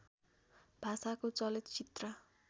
भाषाको चलचित्र